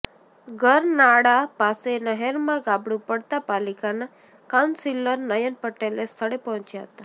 ગરનાળા પાસે નહેરમાં ગાબડું પડતા પાલિકાના કાઉન્સિલર નયન પટેલે સ્થળે પહોંચ્યા હતા